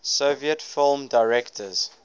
soviet film directors